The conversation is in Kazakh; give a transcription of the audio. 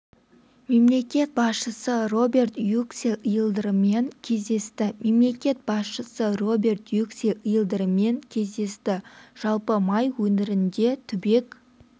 мемлекет басшысы роберт юксел йылдырыммен кездесті мемлекет басшысы роберт юксел йылдырыммен кездесті жалпы май өңірінде түбек